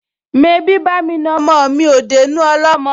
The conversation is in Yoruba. Mebí bá'mi na ọmọ mi ò dénú ọlọ́mọ?